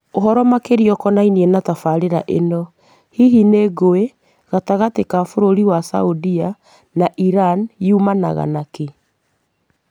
Ũhoro makĩria ũkonainie na tabarĩra ĩno, hihi rĩ ngũĩ gatagatĩ ga bũrũri wa Saudia na Iran yumanaga nakĩ?